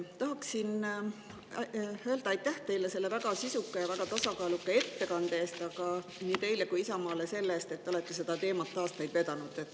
Tahan öelda teile aitäh selle väga sisuka ja väga tasakaaluka ettekande eest ning nii teile kui ka Isamaale selle eest, et te olete seda teemat aastaid vedanud.